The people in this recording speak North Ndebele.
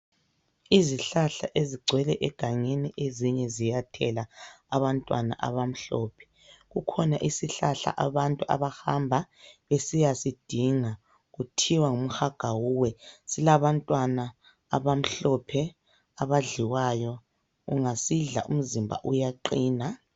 Izihlahla ezigcwele egangeni ezinye ziyathela abantwana abamhlophe kukhona isihlahla abantu abahamba besiyasidinga kuthiwa ngum'hagawuwe silabantwana abamhlophe abadliwayo ungasidla umzimba uyaqina.